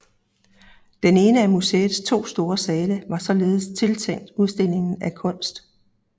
Den ene af museets to store sale var således tiltænkt udstilling af kunst